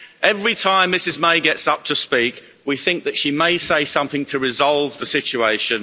Every time Mrs May gets up to speak, we think that she may say something to resolve the situation.